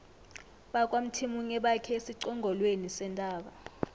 bakwamthimunye bakhe esiqongolweni sentaba